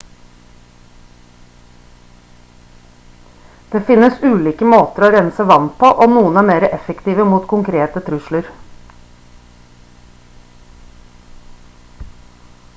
det finnes ulike måter å rense vann på og noen er mer effektive mot konkrete trusler